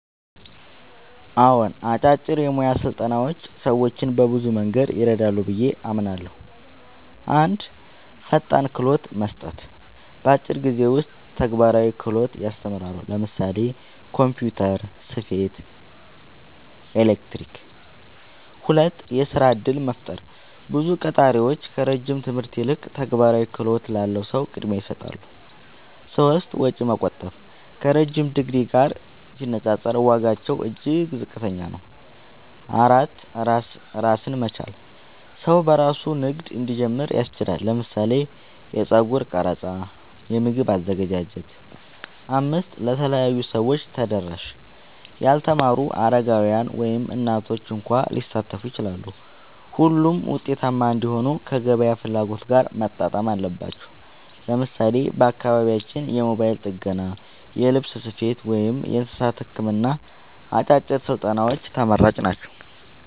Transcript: አዎን፣ አጫጭር የሙያ ስልጠናዎች ሰዎችን በብዙ መንገድ ይረዳሉ ብዬ አምናለሁ፦ 1. ፈጣን ክህሎት መስጠት – በአጭር ጊዜ ውስጥ ተግባራዊ ክህሎት ያስተምራሉ (ለምሳሌ ኮምፒውተር፣ ስፌት፣ ኤሌክትሪክ)። 2. የሥራ እድል መፍጠር – ብዙ ቀጣሪዎች ከረጅም ትምህርት ይልቅ ተግባራዊ ክህሎት ላለው ሰው ቅድሚያ ይሰጣሉ። 3. ወጪ መቆጠብ – ከረዥም ዲግሪ ጋር ሲነጻጸር ዋጋቸው እጅግ ዝቅተኛ ነው። 4. ራስን መቻል – ሰው በራሱ ንግድ እንዲጀምር ያስችላል (ለምሳሌ የጸጉር ቀረጻ፣ የምግብ አዘገጃጀት)። 5. ለተለያዩ ሰዎች ተደራሽ – ያልተማሩ፣ አረጋውያን፣ ወይም እናቶች እንኳ ሊሳተፉ ይችላሉ። ሆኖም ውጤታማ እንዲሆኑ ከገበያ ፍላጎት ጋር መጣጣም አለባቸው። ለምሳሌ በአካባቢያችን የሞባይል ጥገና፣ የልብስ ስፌት፣ ወይም የእንስሳት ሕክምና አጫጭር ስልጠናዎች ተመራጭ ናቸው።